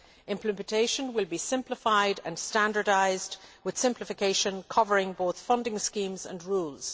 Implementation will be simplified and standardised, with simplification covering both funding schemes and rules.